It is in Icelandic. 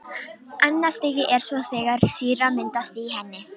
Annað stigið er svo þegar sýra myndast í henni.